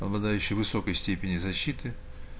обладающий высокой степенью защиты